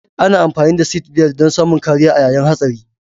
Ana amfani da sitbelt dan samun kariya a yayin hatsari